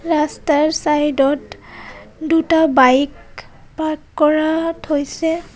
ৰাস্তাৰ চাইদ ত দুটা বাইক পাৰ্ক কৰা থৈছে.